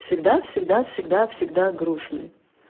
всегда всегда всегда всегда грустный